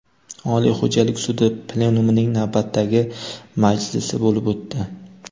Oliy xo‘jalik sudi plenumining navbatdagi majlisi bo‘lib o‘tdi.